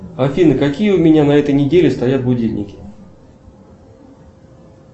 афина какие у меня на этой неделе стоят будильники